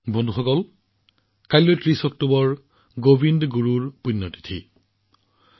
বন্ধুসকল কাইলৈ অৰ্থাৎ ৩০ অক্টোবৰত গোবিন্দ গুৰুজীৰ মৃত্যু বাৰ্ষিকী